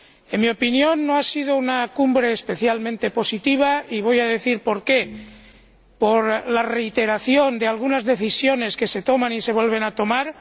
En mi opinión no ha sido una cumbre especialmente positiva, y voy a decir por qué por la reiteración que supone que algunas decisiones se tomen y se vuelvan a tomar